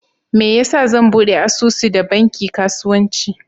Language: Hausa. Meyasa zan ɓude asusu da banki kasuwanci?